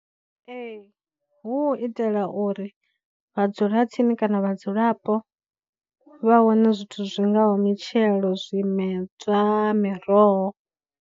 Ee, hu u itela uri vhadzulatsini kana vhadzulapo vha wane zwithu zwi ngaho mitshelo, zwimedzwa, miroho.